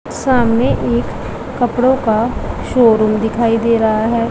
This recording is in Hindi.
सामने एक कपड़ों का शोरूम दिखाई दे रहा है।